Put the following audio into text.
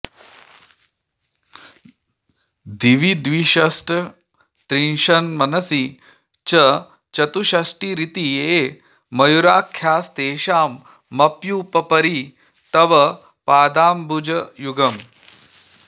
दिवि द्विष्षट्त्रिंशन्मनसि च चतुष्षष्टिरिति ये मयूखास्तेषामप्युपरि तव पादाम्बुजयुगम्